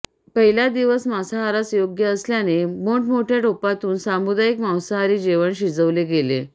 पहिला दिवस मांसाहारास योग्य असल्याने मोठमोठ्या टोपातून सामुदायिक मांसाहारी जेवण शिजवले गेले